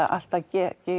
alltaf